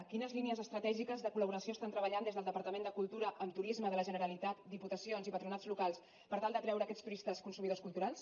quines línies estratègiques de col laboració estan treballant des del departament de cultura amb turisme de la generalitat diputacions i patronats locals per tal d’atreure aquests turistes consumidors culturals